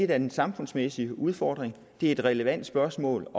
da en samfundsmæssig udfordring og det er et relevant spørgsmål